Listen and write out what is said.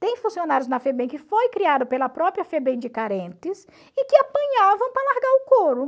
Tem funcionários na FEBEM que foi criado pela própria FEBEM de carentes e que apanhavam para largar o couro.